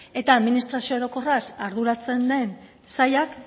eta administrazio orokorraz arduratzen den sailak